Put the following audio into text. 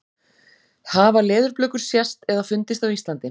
Hafa leðurblökur sést eða fundist á Íslandi?